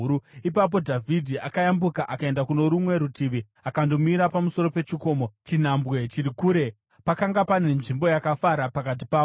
Ipapo Dhavhidhi akayambuka akaenda kuno rumwe rutivi akandomira pamusoro pechikomo, chinhambwe chiri kure; pakanga pane nzvimbo yakafara pakati pavo.